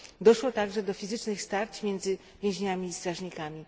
Doszło także do fizycznych starć między więźniami i strażnikami.